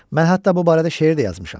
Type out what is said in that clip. Mən hətta bu barədə şeir də yazmışam.